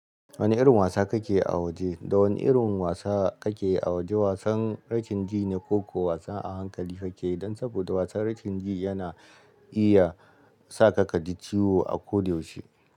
Wane irin wasa kake a waje? Da wane irin wasa kake a waje? Wasan rashin ji ne koko wasa a hankali kake yi don sobada yanzun wasan rashin ji yana yi iya saka ka ji ciwo a koda yasushe.